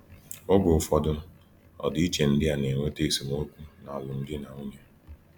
Oge ụfọdụ, ọdịiche ndị a na -eweta esemokwu n’alụmdi na nwunye.